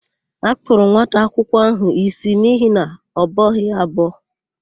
A kpụrụ nwata akwụkwọ áhụ̀ ísí n'ihi na ọ bọghị ya abọ.